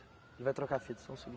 Ele vai trocar a fita, só um segundo.